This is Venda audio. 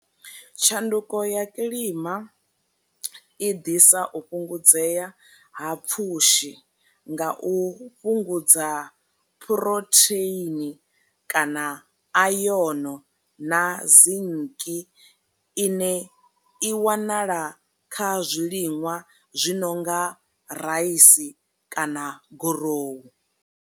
Tshanduko ya kilima i ḓisa u fhungudzea ha pfhushi nga u fhungudza phurotheini kana ayono na zinki ine i wanala kha zwiliṅwa zwi no nga raisi kana gorohu.